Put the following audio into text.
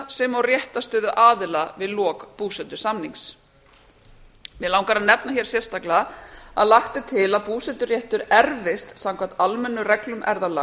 sem og réttarstöðu aðila við lok búsetusamnings mig langar að nefna hér sérstaklega að lagt er til að búseturéttur erfist samkvæmt almennum reglum erfðalaga